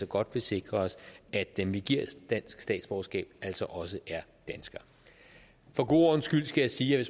godt vil sikre os at dem vi giver dansk statsborgerskab også er danskere for god ordens skyld skal jeg sige at